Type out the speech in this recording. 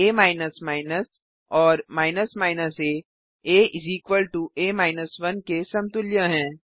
आ और a आ आ 1 के समतुल्य हैं